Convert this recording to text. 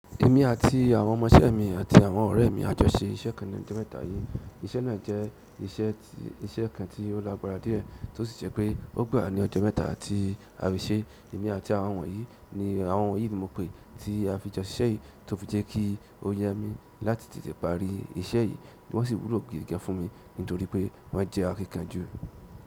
Èmi àti àwọn ọmọṣẹ́ mi àti àwọn ọ̀rẹ́ mi á jọ ṣe iṣẹ́ kan lẹ́nu ọjọ́ mẹ́ta yìí. Iṣẹ́ náà jẹ́ iṣẹ́ kan tí ó lágbára díẹ̀, tí ó sì jẹ́ pé ó gbà wá ní ọjọ́ mẹ́ta tí a fi ṣeé. Èmi àti àwọn wọ̀nyí ni, àwọn wọ̀nyí ni mo pè tí a fi jọ ṣiṣẹ́ yìí tó fi jẹ́ kí ó yá mi láti tètè parí iṣẹ́ yìí. Wọ́n sì wúlò gidi gan-an fún mi nítorí pé wọ́n jẹ́ akínkanjú.